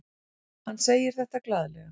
Hann segir þetta glaðlega.